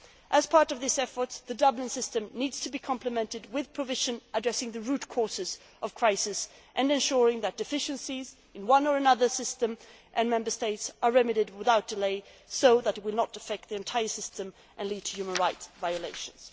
this. As part of this effort, the Dublin system needs to be complemented with provisions addressing the root causes of crises and ensuring that deficiencies in one system or another in Member States are remedied without delay so that they do not affect the entire system and lead to human rights violations.